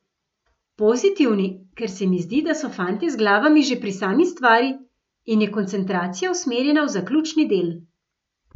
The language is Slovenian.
Pozitivni, ker se mi zdi, da so fantje z glavami že pri sami stvari in je koncentracija usmerjena v zaključni del.